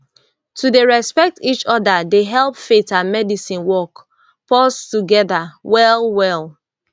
to dey respect each other dey help faith and medicine work pause together well well